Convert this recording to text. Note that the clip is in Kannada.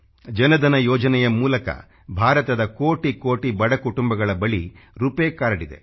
ಜನಧನ ಯೋಜನೆಯ ಮೂಲಕ ಭಾರತದ ಕೋಟಿ ಕೋಟಿ ಬಡ ಕುಟಂಬಗಳ ಬಳಿ ರೂಪಾಯ್ ಕಾರ್ಡ್ ಇದೆ